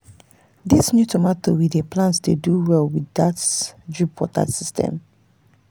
this new tomato we dey plant dey do well with that drip water system.